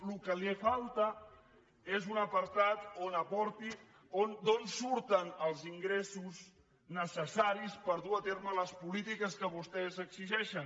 el que li falta és un apartat on aporti d’on surten els ingressos necessaris per dur a terme les polítiques que vostès exigeixen